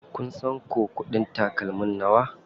Kun san ko kuɗin takalmin nawa?